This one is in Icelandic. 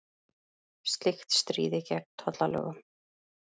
Slíkt stríði gegn tollalögum